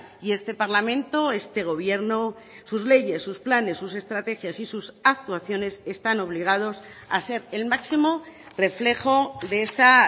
y este parlamento este gobierno sus leyes sus planes sus estrategias y sus actuaciones están obligados a ser el máximo reflejo de esa